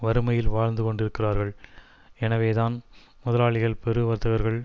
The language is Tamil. வறுமையில் வாழ்ந்து கொண்டிருக்கிறார்கள் எனவேதான் முதலாளிகள் பெரு வர்த்தகர்கள்